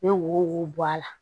Ne wo wo bɔ a la